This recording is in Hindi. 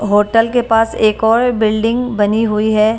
होटल‌ के पास एक और बिल्डिंग बनी हुई है।